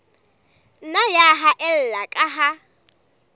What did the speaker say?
nna ya haella ka ha